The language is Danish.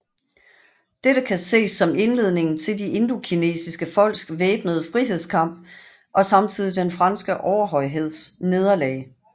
Dette kan ses som indledningen til de indokinesiske folks væbnede frihedskamp og samtidigt den franske overhøjheds nederlag